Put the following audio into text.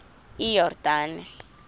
iyordane